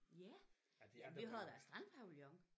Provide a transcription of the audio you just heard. Ja jamen vi har da strandpavillion